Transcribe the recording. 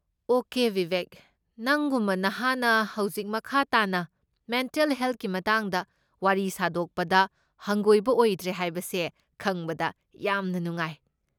Okay Bibek, ꯅꯪꯒꯨꯝꯕ ꯅꯍꯥꯅ ꯍꯧꯖꯤꯛ ꯃꯈꯥ ꯇꯥꯅ ꯃꯦꯟꯇꯦꯜ ꯍꯦꯜꯊꯀꯤ ꯃꯇꯥꯡꯗ ꯋꯥꯔꯤ ꯁꯥꯗꯣꯛꯄꯗ ꯍꯪꯒꯣꯏꯕ ꯑꯣꯏꯗ꯭ꯔꯦ ꯍꯥꯏꯕꯁꯦ ꯈꯪꯕꯗ ꯌꯥꯝꯅ ꯅꯨꯡꯉꯥꯏ꯫